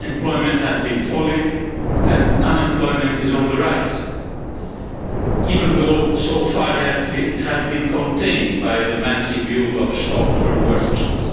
Employment has been falling and unemployment is on the rise, even though so far it has been contained by the massive use of short-term work schemes.